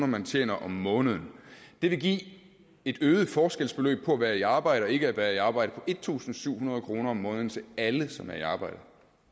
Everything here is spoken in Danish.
man tjener om måneden det vil give en øget forskel mellem at være i arbejde og ikke at være i arbejde på en tusind syv hundrede kroner om måneden til alle som er i arbejde